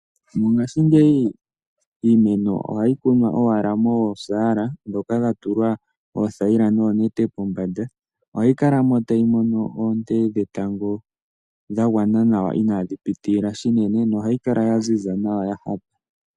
Mongashingeyi iimeno ohayi kunwa owala mosaala ndhoka dhatulwa oothayila noonete pombanda. Ohayi kala tayi mono oonte dhetango dhagwana inadhi pitilila shinene nohayi kala yaziza nawa.